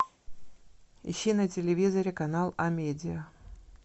ищи на телевизоре канал амедиа